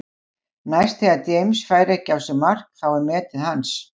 Næst þegar James fær ekki á sig mark þá er metið hans.